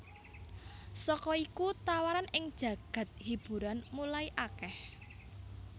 Saka iku tawaran ing jagad hiburan mulai akeh